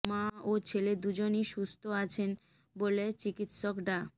মা ও ছেলে দুইজনই সুস্থ আছেন বলে চিকিৎসক ডা